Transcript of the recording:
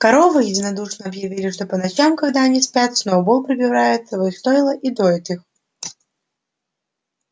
коровы единодушно объявили что по ночам когда они спят сноуболл пробирается в их стойла и доит их